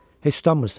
Heç utanmırsan?